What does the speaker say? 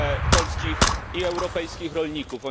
polskich i europejskich rolników.